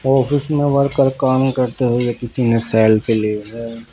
Office में worker काम करते हुए किसीने सेल्फी ली है.